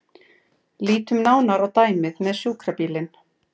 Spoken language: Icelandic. Lítum nánar á dæmið með sjúkrabílinn.